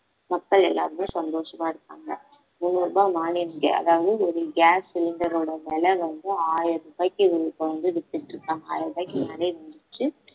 மக்கள் எல்லாருமே சந்தோஷமா இருக்காங்க முன்னூறு ரூபாய் மானியம் ga~ அதாவது ஒரு gas cylinder ஓட விலை வந்து ஆயிரம் ரூபாய்க்கு இவங்க இப்ப வந்து வித்துட்டு இருக்காங்க ஆயிரம் ரூபாய்க்கு மேலையே வந்துருச்சு